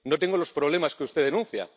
no tengo los problemas que usted denuncia.